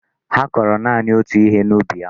Ha koro naanị otú ihe n'ubi ha.